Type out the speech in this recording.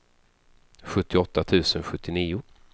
sjuttioåtta tusen sjuttionio